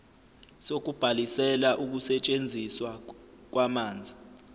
sokubhalisela ukusetshenziswa kwamanzi